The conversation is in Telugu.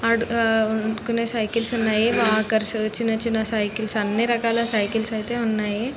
ఆడ ఆ సైకిల్స్ ఉన్నాయి వాకర్స్ చిన్నచిన్న సైకిల్స్ అన్ని ఉన్నాయి అన్ని రకాల సైకిల్స్ ఐతే ఉన్నాయి.